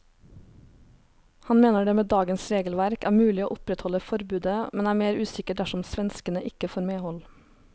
Han mener det med dagens regelverk er mulig å opprettholde forbudet, men er mer usikker dersom svenskene ikke får medhold.